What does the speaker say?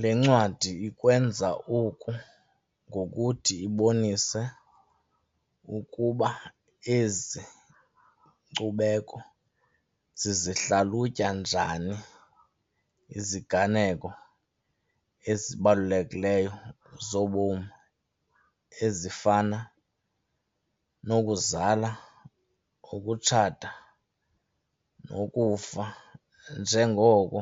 Le ncwadi ikwenza oku ngokuthi ibonise ukuba ezi nkcubeko zizihlalutya njani iziganeko ezibalulekileyo zobomi ezifana nokuzala, ukutshata nokufa njengoko